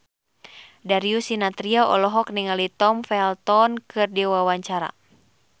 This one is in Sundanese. Darius Sinathrya olohok ningali Tom Felton keur diwawancara